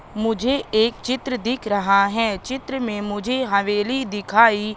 मुझे एक चित्र दिख रहा है चित्र में मुझे हवेली दिखाई--